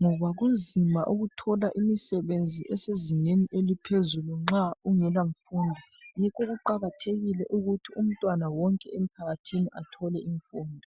ngoba kunzima ukuthola imisebenzi esezingeni eliphezulu nxa ungelamfundo. Yikho kuqakathekile ukuthi umntwana wonke emphakathini athole imfundo.